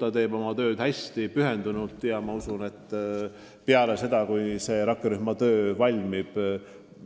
Ta teeb oma tööd hästi pühendunult ja ma olen veendunud, et kui rakkerühma töö on valminud,